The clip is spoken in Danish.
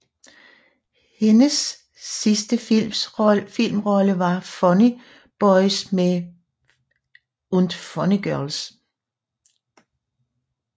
Hennes sidste filmrolle var i Funny boys und funny girls